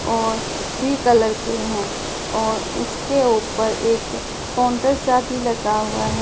और भी कलर के हैं और उसके ऊपर एक काउंटर सा भी लगा हुआ है।